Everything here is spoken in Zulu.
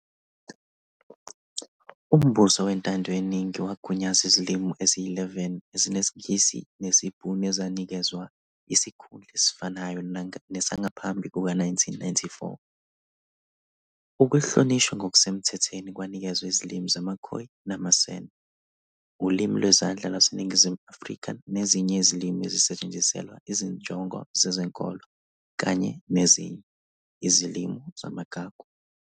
Umbuso wentando yeningi wagunyaza izilimi eziyi-11 ezinesiNgisi nesiBhunu ezanikezwa isikhundla esifanayo nesangaphambi kuka-1994. Ukuhlonishwa ngokusemthethweni kwanikezwa izilimi zamaKhoi namaSan, uLimi Lwezandla lwaseNingizimu Afrika nezinye izilimi ezisetshenziselwa izinjongo zezenkolo kanye nezinye, izilimi zamagugu.